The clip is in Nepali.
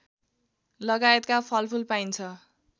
लगायतका फलफुल पाइन्छ